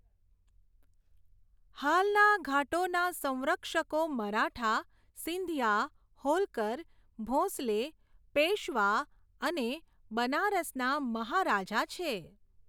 હાલના ઘાટોના સંરક્ષકો મરાઠા, સિંધિયા, હોલકર, ભોંસલે, પેશવા અને બનારસના મહારાજા છે.